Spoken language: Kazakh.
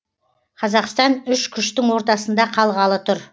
қазақстан үш күштің ортасында қалғалы тұр